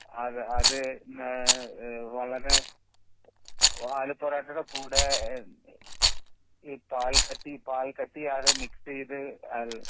ആ അത് ആ അത് വളരെ ആലു പൊറോട്ടയുടെ കൂടെ ഏയ് പാൽക്കട്ടി പാൽക്കട്ടി അത് മിക്സ് ചെയ്ത് ആ